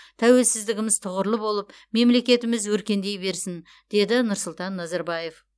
тәуелсіздігіміз тұғырлы болып мемлекетіміз өркендей берсін деді нұрсұлтан назарбаев